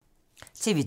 TV 2